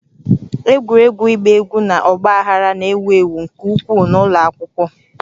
Egwuregwu ịgba egwu na ọgba aghara na-ewu ewu nke ukwuu n'ụlọ akwụkwọ